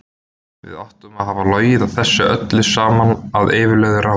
Við áttum að hafa logið þessu öllu saman að yfirlögðu ráði.